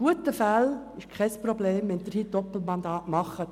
In guten Zeiten ist es kein Problem, Doppelmandate zu haben.